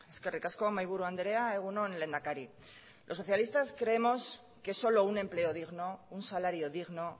eskerrik asko mahaiburu andrea egun on lehendakari los socialistas creemos que solo un empleo digno un salario digno